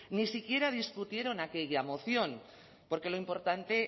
ni siquiera discutieron aquella moción porque lo importante